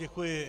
Děkuji.